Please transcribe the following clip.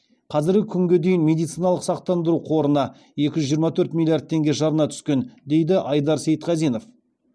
қазіргі күнге дейін медициналық сақтандыру қорына екі жүз жиырма төрт миллиард теңге жарна түскен дейді айдар сейітқазинов